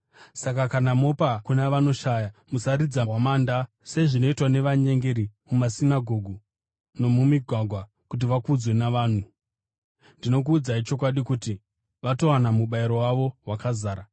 “Saka kana mopa kuna vanoshaya, musaridza hwamanda sezvinoitwa navanyengeri mumasinagoge nomumigwagwa kuti vakudzwe navanhu. Ndinokuudzai chokwadi kuti vatowana mubayiro wavo wakazara.